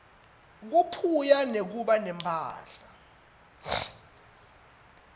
kubuphuya bekuba nemphahla